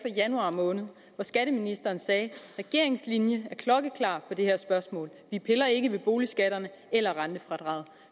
januar måned hvor skatteministeren sagde regeringens linje er klokkeklar i det her spørgsmål vi piller ikke ved boligskatterne eller rentefradraget